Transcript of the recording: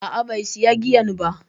A'a bai sayi giyan ba.